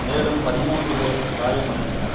மேலும் பதிமூன்று பேர் காயம் அடைந்தனர்